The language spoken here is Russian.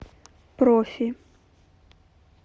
профи